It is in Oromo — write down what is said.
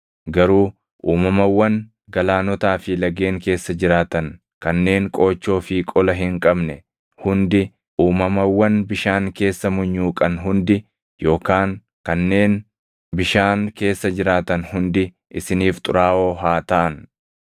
Garuu uumamawwan galaanotaa fi lageen keessa jiraatan kanneen qoochoo fi qola hin qabne hundi, uumamawwan bishaan keessa munyuuqan hundi yookaan kanneen bishaan keessa jiraatan hundi isiniif xuraaʼoo haa taʼan.